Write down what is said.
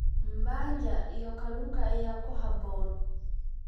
Mbanja iyo kalluunka ayaa ku habboon.